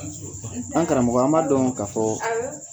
An karamɔgɔ, an ba dɔn ka fɔ